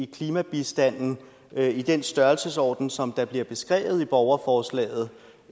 klimabistand i den størrelsesorden som bliver beskrevet i borgerforslaget